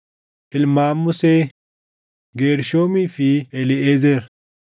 Ilmaan Musee: Geershoomii fi Eliiʼezer.